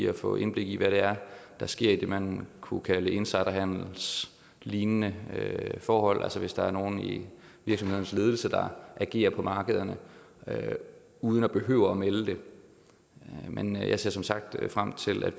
at få indblik i hvad der sker i det man kunne kalde insiderhandelslignende forhold altså hvis der er nogle i en virksomheds ledelse der agerer på markederne uden at behøve melde det men jeg ser som sagt frem til at